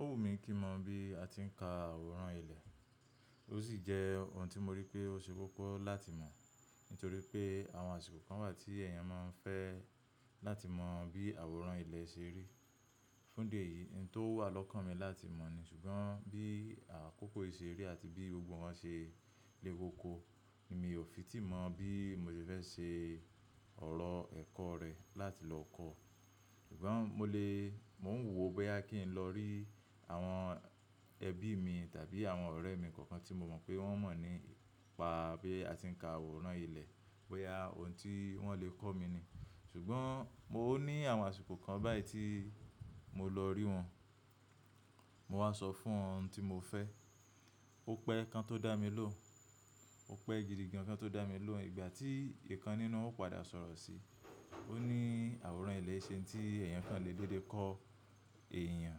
Ó wù mí kí mọ bí a ti ń ka àwòrán ilẹ̀. Ó sì jẹ́ ohun tí mo rí pé ó ṣe kókó láti mọ̀. Nítorí pé àwọn àsìkò kan wà tí èèyàn máa ń fẹ́ láti mọ bí àwòrán ilẹ̀ ṣe rí. Fún ìdí èyí, ìn tó wà lọ́kàn mi láti mọ̀ ni, ṣùgbọ́n bí àkókò yìí ṣe rí àti bí gbogbo nkan ṣe lé kókó, ni mi ò fi tí mọ̀ bí mo ṣe fẹ́ ṣe ọ̀rọ̀ ẹ̀kọ́ rẹ̀ láti lọ kọ́. Ṣùgbọ́n mo lè, mò ń wò bóyá kí n lọ rí àwọn ẹbí mi tàbí àwọn ọ̀rẹ́ mi kọ̀ọ̀kan tí mo mọ̀ pé wọ́n mọ̀ nípa bí a ti ń ka àwòrán ilẹ̀, bóyá ohun tí wọ́n lè kọ́ mi ni. Ṣùgbọ́n mo ní àwọn àsìkò kan báyìí tí mo lọ rí wọn, mo wá sọ fún wọn ohun tí mo fẹ́. Ó pẹ́ ẹ kan tó dá mi lóhùn, ó pẹ́ gidi gan kan tó dá mi lóhùn ìgbà tí ìkan nínú wọn ó padà sọ̀rọ̀ sí i. Ó ní àwòrán ilẹ̀ e ṣe ohun tí èèyàn kan lè dédé kọ́ èèyàn.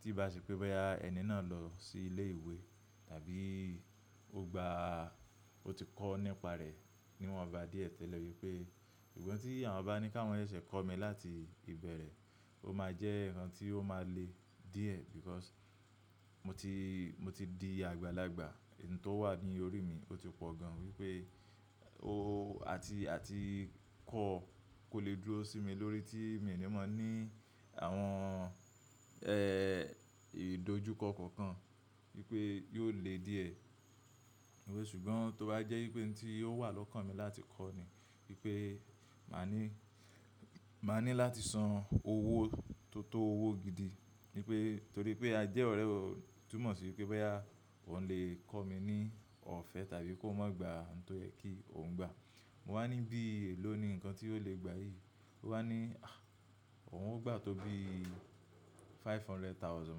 Tí bá ṣe pé bóyá ẹni náà lọ sí ilé ìwé tàbí ó gba, ó ti kọ́ nípa rẹ̀, ni wọ́n bá díẹ̀ tẹ́lẹ̀ wípé, ṣùgbọ́n tí àwọn bá ní kawọn yẹ ṣe kọ́ mi láti ìbẹ̀rẹ̀, ó máa jẹ́ ǹkan tí ó máa le díẹ̀ because mo ti, mo ti di àgbàlagbà. Ohun tó wà ní orí mi, ó ti pọ̀ gan-an wípé o-- àti, àti kọ́ kò lè dúró sí mi lórí tí mi ni mọ ní àwọn, ìdojúkọ kọ̀ọ̀kan wípé yóò le díẹ̀. Òwe ṣùgbọ́n tó bá jẹ́ wípé ohun tí ó wà lọ́kàn mi láti kọ́ ni wípé, màá ní, màá ní láti san owó tó tó owó gidi, ní pé, torí pé a jẹ́ ọ̀rẹ́, ó túmọ̀ sí pé bọ́yá ohun lè kọ́ mi ní ọ̀fẹ́ tàbí kóun má gba nǹkan tó yẹ kí òun gbà. Mo wá ní bí èló ni ǹkan tí ó lè gbà yìí. Ó wá ní, àh! Òun ó gbà tó bí five hundred thousand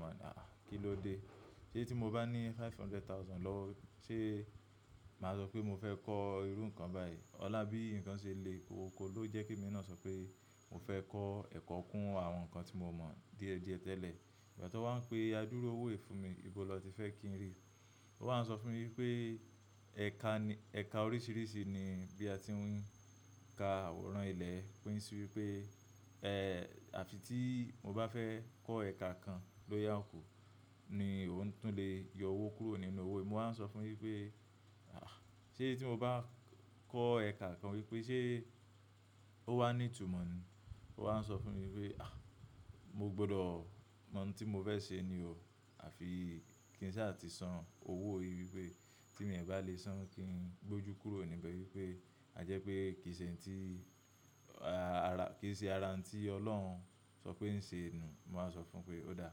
màá ní, àh! Kí ló dé? Ṣé tí mo bá ní five hundred thousand lọ́wọ́, ṣe màá sọ pé mo fẹ́ kọ́ irú ǹkan báyìí? Ọlá bí ǹkan ṣe le kókó ló jẹ́ kí èmi náà sọ pé mo fẹ́ kọ́ ẹ̀kọ́ kún àwọn ǹkan tí mo mọ̀ díẹ̀ díẹ̀ tẹ́lẹ̀. Ìgbà tó wá ń pe adúru owó yì fún mi, ibo ló ti fẹ́ kí n rí? Ó wá ń sọ fún mi wípé, ẹ̀ka ni, ẹ̀ka oríṣiríṣi ni bí a ti ń ka àwòrán ilẹ̀. Ó pín sí wípé, ẹ́ẹ́, àfi tí mo bá fẹ́ kọ́ ẹ̀ka kan ló ya kù ni òun tún lè yọ owó kúrò nínú owó mi. Mo wá ń sọ fún un wípé, àh! Ṣé tí mo bá kọ́ ẹ̀ka kan wípé ṣe ó wá ní ìtumọ̀ ni? Ó wá ń sọ fún mi wípé, àh! Mo gbọdọ̀ mọ ohun tí mo fẹ́ ṣe ni o àfi kí ń ṣa ti san owó yìí wípé tí èmi bá le san kí n gbójú kúrò níbẹ̀ wípé, àjẹ́ pé kì í ṣe ǹkan tí, àrà, àrà, kì í ṣe ara n tí Ọlọ́run sọ pé ń ṣe nù. Mo wá sọ fún un pé ó dá.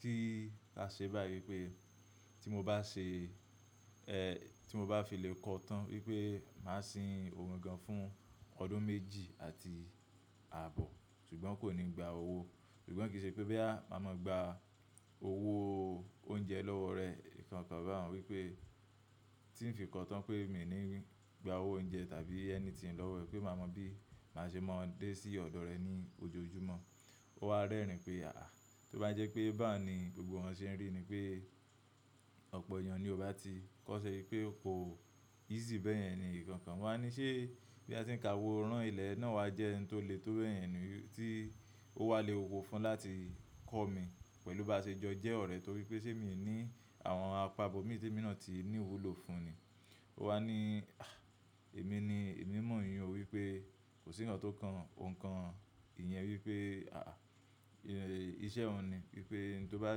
Kí a ṣe báyìí pé tí mo bá ṣe, tí mo bá fi lè kọ́ tán wípé màá sin òun gan-an fún ọdún méjì àti ààbọ̀, ṣùgbọ́n kò ní gba owó. Ṣùgbọ́n kì í ṣe pé bóyá màá máa gba owó oúnjẹ lọ́wọ́ rẹ. Ìkankan bá àún wípé tí ń fi kọ́ tán pé èmi ní gbà owó oúnjẹ tàbí anything lọ́wọ́ ẹ pé màá mọ bí màá ṣe mọ dé sí ọ̀dọ̀ rẹ ní ojoojúmọ́. Ó wá rẹ́rìn ín pé, àh! Tó bá jẹ́ pé bá un ni gbogbo wọn ṣe ń rí ni pé ọ̀pọ̀ èèyàn ni ò bá ti kọ́sẹ́ wípé kò easy bẹ́ẹ̀ yẹn ni. Nkankan mo wá ní ṣé bí a ti ń ka àwòrán ilẹ̀ náà wa jẹ́ ohun tó le tó bẹ́ẹ̀ yẹn ni tí ó wà lé kókó fún láti kọ́ mi pẹ̀lú bá ṣe jọ jẹ́ ọ̀rẹ́ torí pé ṣé mi ń ní àwọn àpá bó mí tí èmi náà ti ní ìwúlò fún ni. Ó wá ní, àh! Èmi ni, èmi mọ̀ ìyun ò wípé kò sí ǹkan tó kan òun kan ìyẹn wípé, àh! Ìṣẹ́ ọ̀un ni wípé ntó bá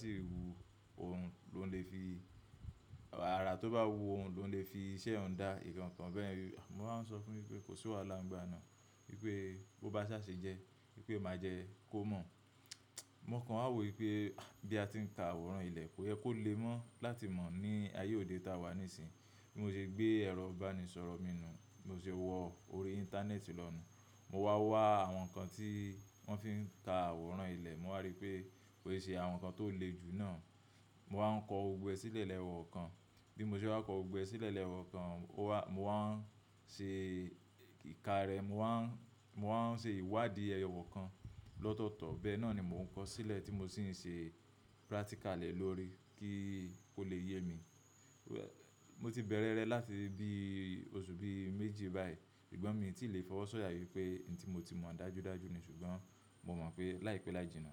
sì wu òun ló ń lè fi, ara tó bá wu òun ló ń lè fi iṣẹ́ ọ̀un dá. Ìkankan bẹ́ẹ̀ ni. Mo wá ń sọ fún un wípé kò sí wàhálà ńgba náà, wípé bó bá sa ṣe jẹ́, wípé ó máa jẹ́ kó mọ̀. Mò kan wá wò wípé, àh! Bí a ti ń ka àwòrán ilẹ̀, kó yẹ kó lè mọ̀ láti mọ̀ ní ayé òde táa wà ní ìsìn. Bí mo ṣe gbé ẹ̀rọ ìbánisọ̀rọ̀ mi nu, mo sì wọ orí íńtánẹ́ẹ̀tì lọ nu. Mo wá wá àwọn ǹkan tí wọ́n fi ń ka àwòrán ilé. Mo wá rí pé kò ṣe àwọn ǹkan tó le jù náà. Mo wá ń kọ gbogbo ẹ sílẹ̀ lẹ́yọ̀ kọ̀ọ̀kan. Bí mo ṣe bá kọ gbogbo ẹ sílẹ̀ lẹ́yọ̀ kọ̀ọ̀kan, ó wá, mo wá ń ṣe ìka rẹ̀. Mo wá ń, mo wá ń ṣe ìwádìí ẹyọ kọ̀ọ̀kan lọ́tọ̀ọ̀tọ̀. Bẹ́ẹ̀ náà ni mò ń kọ sílẹ̀ tí mo sì ń ṣe practical le lórí kí ó lè yé mi. Mo ti bẹ̀rẹ̀ rẹ̀ láti bí oṣù bí i méjì báyìí. Ṣùgbọ́n mi ò tí ì le fọwọ́ sọ̀yà wípé ntí mo ti mọ̀ dájúdájú ni ṣùgbọ́n mò mọ̀ pé láìpẹ́ láijíná.